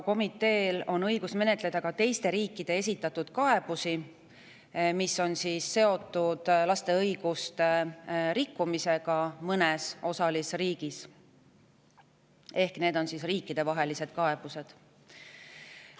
Komiteel on õigus menetleda ka teiste riikide esitatud kaebusi, mis on seotud laste õiguste rikkumisega mõnes osalisriigis – need on siis riikidevahelised kaebused.